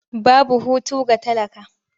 Babu hutu ga talaka.